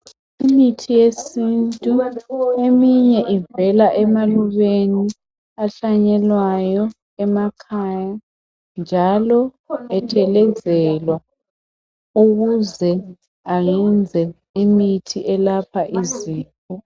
Imithi yesintu, eminye ivela emalubeni ahlanyelwayo emakhaya njalo ethelezelwa, ukuze ayenze imithi elapha izifo.